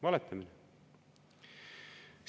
Valetamine!